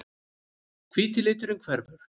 Hvíti liturinn hverfur.